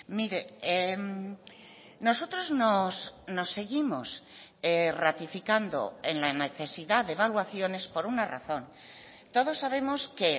mire nosotros nos seguimos ratificando en la necesidad de evaluaciones por una razón todos sabemos que